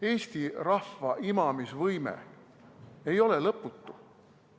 Eesti rahva imamisvõime ei ole lõputu.